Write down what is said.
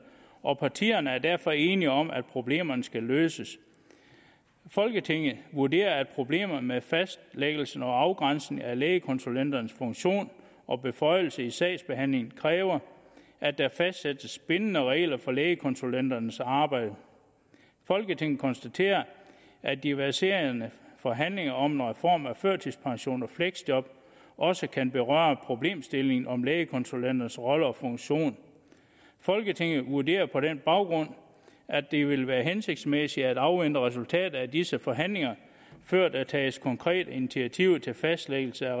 og partierne er derfor enige om at problemerne skal løses folketinget vurderer at problemerne med fastlæggelsen og afgrænsningen af lægekonsulenternes funktion og beføjelser i sagsbehandlingen kræver at der fastsættes bindende regler for lægekonsulenternes arbejde folketinget konstaterer at de verserende forhandlinger om en reform af førtidspension og fleksjob også kan berøre problemstillingen om lægekonsulenternes rolle og funktion folketinget vurderer på den baggrund at det vil være hensigtsmæssigt at afvente resultatet af disse forhandlinger før der tages konkrete initiativer til fastsættelse